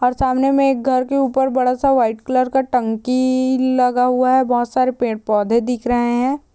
और सामने मे एक घर के ऊपर बड़ा सा व्हाइट कलर का टंकी लगा हुआ है| बहोत सारे पेड़ पौधे दिख रहे हैं।